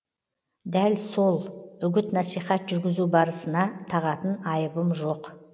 дәл сол үгіт насихат жүргізу барысына тағатын айыбым жоқ